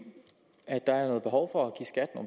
at der er behov for